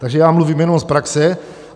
Takže já mluvím jenom z praxe.